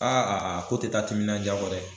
Aa a ko te taa timiminanja kɔ dɛ